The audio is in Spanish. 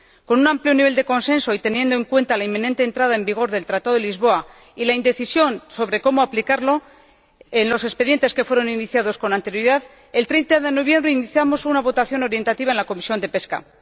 Con un amplio nivel de consenso y teniendo en cuenta la inminente entrada en vigor del Tratado de Lisboa y la indecisión de cómo aplicarlo en los expedientes que fueron iniciados con anterioridad, el 30 de noviembre iniciamos una votación orientativa en la Comisión de Pesca.